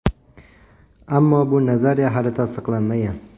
Ammo bu nazariya hali tasdiqlanmagan.